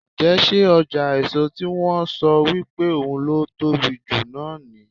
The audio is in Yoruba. Ǹjẹ́ ṣé ọjà èso tí wón ń sọ wípé ohun ló tóbi jù náà ní.